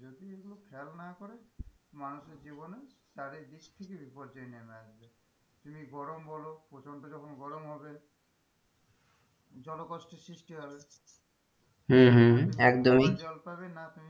খেয়াল না করে মানুষের জীবনে তাদের বেশ কিছু বিপর্যয় টেনে আনছে তুমি গরম বলো প্রচন্ড যখন গরম হবে জল কষ্টের সৃষ্টি হবে হম হম একদমই জল পাবে না,